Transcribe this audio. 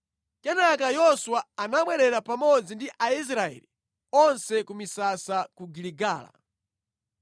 Kenaka Yoswa anabwerera pamodzi ndi Aisraeli onse ku misasa ku Giligala.